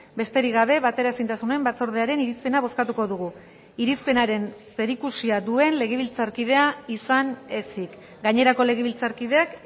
besterik gabe bateraezintasunen batzordearen irizpena bozkatuko dugu irizpenaren zerikusia duen legebiltzarkidea izan ezik gainerako legebiltzarkideak